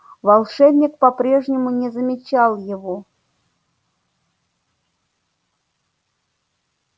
волшебник по-прежнему не замечал его